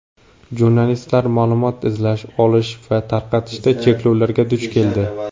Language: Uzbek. Jurnalistlar ma’lumot izlash, olish va tarqatishda cheklovlarga duch keldi.